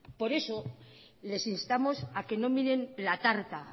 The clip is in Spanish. por eso les instamos a que no miren la tarta